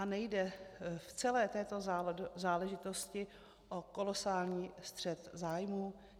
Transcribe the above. A nejde v celé této záležitosti o kolosální střet zájmů?